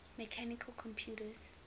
mechanical computers